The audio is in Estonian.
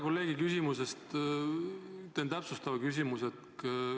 Kolleegi küsimuse põhjal esitan täpsustava küsimuse.